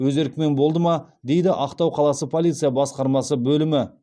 өз еркімен болды ма дейді ақтау қаласы полиция басқармасы бөлімі